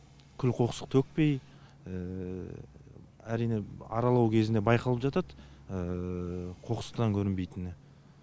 күл қоқсық төкпей әрине аралау кезінде байқалып жатады қоқсықтан көрінбейтіні